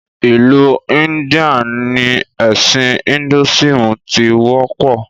Ìlú India ni ẹ̀sìn "Hinduism" tí wọ́pọ̀